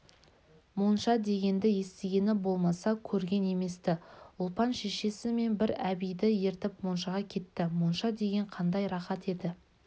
монша дегенді естігені болмаса көрген еместі ұлпан шешесі мен бір әбиді ертіп моншаға кетті монша деген қандай рақат еді